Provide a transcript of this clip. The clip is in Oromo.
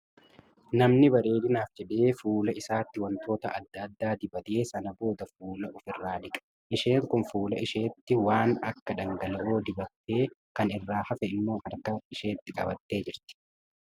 Namni bareedinaaf jedhee guula isaatti waantoota adda addaa dibatee sana joosa of irraa dhiqa. Isheen kun fuula isheetti waan akka dhangala'oo dibattee kan irraa hafe immoo harka isheetti qabattee jirti.